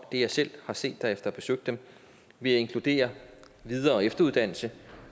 det jeg selv har set efter at have besøgt dem ved at inkludere videre og efteruddannelse